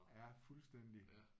Ja fuldstændig